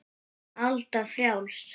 Alda frjáls.